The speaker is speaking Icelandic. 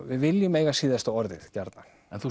við viljum eiga síðasta orðið gjarnan en þú